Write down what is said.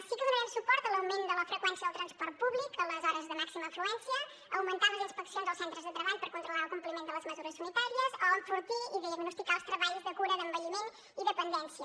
sí que donarem suport a l’augment de la freqüència del transport públic a les hores de màxima afluència a augmentar les inspeccions als centres de treball per controlar el compliment de les mesures unitàries o a enfortir i diagnosticar els treballs de cura d’envelliment i dependència